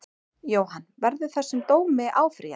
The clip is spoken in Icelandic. Jóhann: Verður þessum dómi áfrýjað?